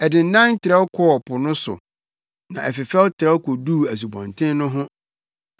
Ɛdennan trɛw kɔɔ Po no so, na ɛfefɛw trɛw koduu Asubɔnten no ho.